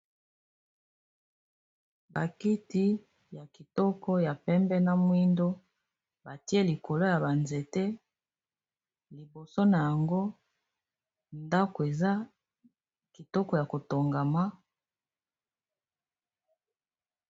bakiti ya kitoko ya pembe na mwindo batie likolo ya banzete liboso na yango ndako eza kitoko ya kotongama